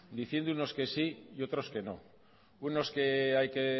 diciendo unos que sí y otros que no unos que hay que